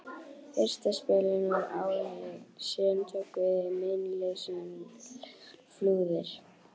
Fyrsta spölinn var áin lygn, síðan tóku við meinleysislegar flúðir.